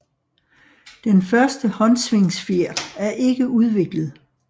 Den første håndsvingfjer er ikke udviklet